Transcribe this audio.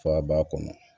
Fa b'a kɔnɔ